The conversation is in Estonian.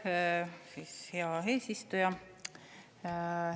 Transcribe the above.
Aitäh, hea eesistuja!